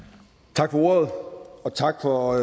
tak for ordet og tak for